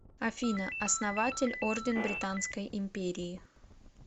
афина основатель орден британской империи